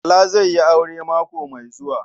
Bala zai yi aure mako mai zuwa.